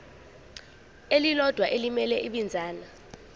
elilodwa elimele ibinzana